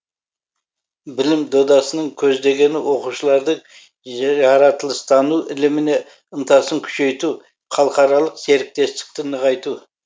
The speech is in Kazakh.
білім додасының көздегені оқушылардың жаратылыстану іліміне ынтасын күшейту халықаралық серіктестікті нығайту